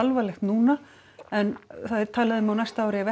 alvarlegt núna en það er talað um að á næsta ári ef